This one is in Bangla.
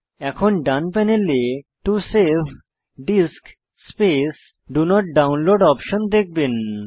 এখন ডান প্যানেলে to save disk space do not download option দেখবেন